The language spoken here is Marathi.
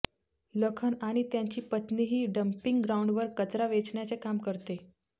लखन आणि त्याची पत्नीही डंपिंग ग्राऊंडवर कचरा वेचण्याचे काम करते